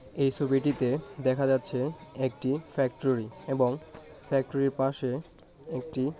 এই ছবিটিতে দেখা যাচ্ছে একটি ফ্যাক্টরি এবং ফ্যাক্টরির পাশে একটি--